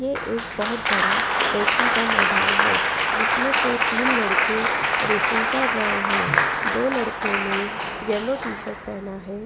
ये एक बहुत बड़ा रेसिंग का मैदान है जिसमें से तीन लड़के रेसिंग कर रहे हैं दो लड़कों ने येलो टी शर्ट पहना है।